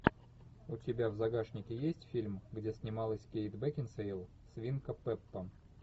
у тебя в загашнике есть фильм где снималась кейт бекинсейл свинка пеппа